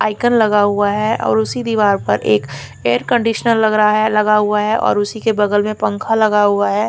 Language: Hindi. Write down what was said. आयकन लगा हुआ है और उसी दीवार पर एक एयर कन्डिशनर लग रहा है लगा हुआ है और उसी की बगल मे पंखख्ह लगा हुआ है।